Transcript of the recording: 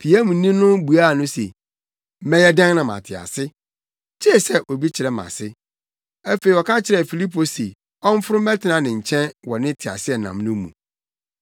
Piamni no buaa no se, “Mɛyɛ dɛn na mate ase? Gye sɛ obi kyerɛ me ase.” Afei ɔka kyerɛɛ Filipo se ɔmforo mmɛtena ne nkyɛn wɔ ne teaseɛnam no mu.